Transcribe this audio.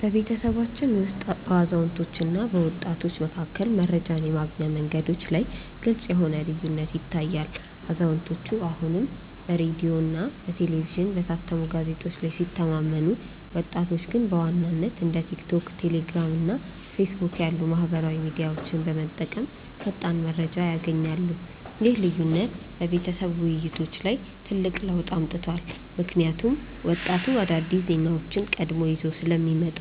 በቤተሰባችን ውስጥ በአዛውንቶችና በወጣቶች መካከል መረጃን የማግኛ መንገዶች ላይ ግልጽ የሆነ ልዩነት ይታያል፤ አዛውንቶቹ አሁንም በሬዲዮ፣ በቴሌቪዥንና በታተሙ ጋዜጦች ላይ ሲተማመኑ፣ ወጣቶቹ ግን በዋናነት እንደ ቲክቶክ፣ ቴሌግራም እና ፌስቡክ ያሉ ማኅበራዊ ሚዲያዎችን በመጠቀም ፈጣን መረጃ ያገኛሉ። ይህ ልዩነት በቤተሰብ ውይይቶች ላይ ትልቅ ለውጥ አምጥቷል፤ ምክንያቱም ወጣቱ አዳዲስ ዜናዎችን ቀድሞ ይዞ ስለሚመጣ